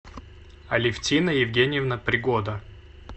алевтина евгеньевна пригода